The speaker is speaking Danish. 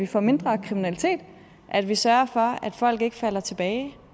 få mindre kriminalitet at vi sørger for at folk ikke falder tilbage